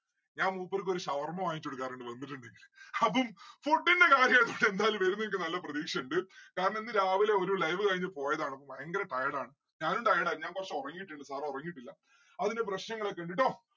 ഞാൻ മൂപ്പർക്കൊരു ഷവർമ വാങ്ങികചോടുക്കാറുണ്ട് വന്നിട്ടുണ്ടെങ്കില്. അപ്പം food ന്റെ കാര്യായതോണ്ട് എന്തായാലും വരും എന്നിക്ക് നല്ല പ്രതീക്ഷ ഇണ്ട് കാരണം ഇന്ന് രാവിലെ ഒരു live കഴിഞ്‍ പോയതാണ് ഭയങ്കരം tired ആണ്. ഞാനും tired ആയിരുന്നു. ഞാൻ കൊറച്ച് ഒറങ്ങിയിട്ടിണ്ട് sir ഉറങ്ങിയിട്ടില്ല അതിന്റെ പ്രശ്നങ്ങളൊക്കെ ഇണ്ട് ട്ടോ